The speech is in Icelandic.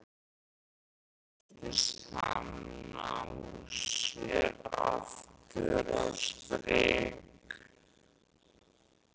Smám saman virtist hann ná sér aftur á strik.